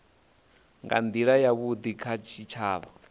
nga ndila yavhudi kha tshitshavha